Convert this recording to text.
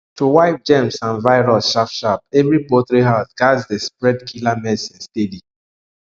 to wipe germs and virus sharp sharp every poultry house gatz dey spray killer medicine steady